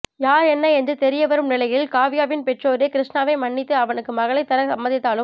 யார் என்ன என்று தெரிய வரும் நிலையில் காவ்யாவின் பெற்றோரே கிருஷ்ணாவை மன்னித்து அவனுக்கு மகளைத் தர சம்மதித்தாலும்